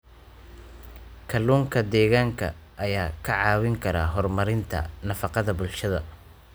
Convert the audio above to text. Kalluunka deegaanka ayaa kaa caawin kara horumarinta nafaqada bulshada.